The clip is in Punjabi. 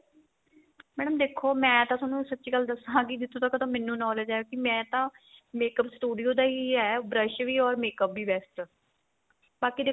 madam ਦੇਖੋ ਮੈਂ ਤਾਂ ਤੁਹਾਨੂੰ ਸੱਚੀ ਗੱਲ ਦੱਸਾਂ ਕੀ ਜਿੱਥੋ ਤੱਕ ਮੈਨੂੰ knowledge ਏ ਕੀ ਮੈਂ ਤਾਂ makeup studio ਦਾ ਈ brush ਵੀ or makeup ਵੀ best ਬਾਕੀ ਦੇਖੋ